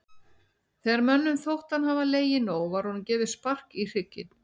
Þegar mönnum þótti hann hafa legið nóg var honum gefið spark í hrygginn.